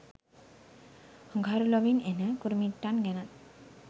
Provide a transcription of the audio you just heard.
අඟහරු ලොවින් එන කුරුමිට්ටන් ගැනත්